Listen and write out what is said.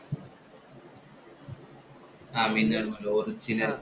ആഹ് Minnal‍ Murali original